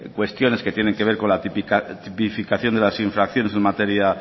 cuestiones que tiene que ver con la tipificación de las infracciones en materia